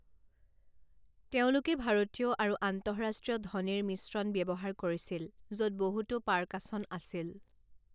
তেওঁলোকে ভাৰতীয় আৰু আন্তঃৰাষ্ট্ৰীয় ধ্বনিৰ মিশ্ৰণ ব্যৱহাৰ কৰিছিল য'ত বহুতো পাৰকাচন আছিল।